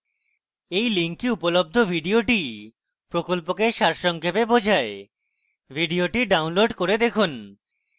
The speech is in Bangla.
এই link উপলব্ধ video প্রকল্পকে সারসংক্ষেপে বোঝায় video ডাউনলোড করে দেখুন